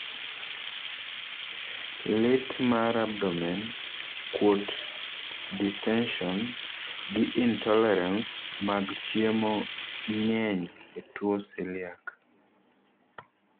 lit mar abdomen, kuot(distention),gi intolerance mag chiemo ng'eny e tuwo celiac